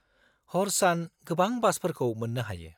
-हर सान गोबां बासफोरखौ मोन्नो हायो।